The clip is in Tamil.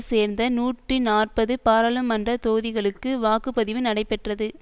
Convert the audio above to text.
சேர்ந்த நூற்றி நாற்பது பாரளுமன்ற தொகுதிகளுக்கு வாக்கு பதிவு நடைபெற்றது